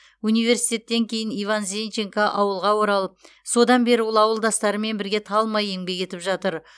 университеттен кейін иван зенченко ауылға оралып содан бері ол ауылдастарымен бірге талмай еңбек етіп жатыр